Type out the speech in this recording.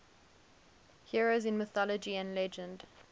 heroes in mythology and legend